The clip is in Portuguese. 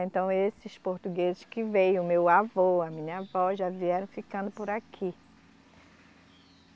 Então esses portugueses que veio, meu avô, a minha avó, já vieram ficando por aqui.